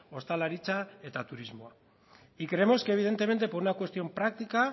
ostalaritza eta turismoa y creemos que evidentemente por una cuestión práctica